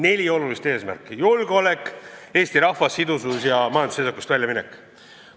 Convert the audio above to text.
Neli olulist eesmärki: rahvaarvu kasv, julgeolek, Eesti rahva sidusus ja majandusseisakust väljaminek.